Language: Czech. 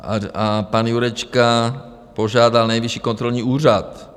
A pan Jurečka požádal Nejvyšší kontrolní úřad.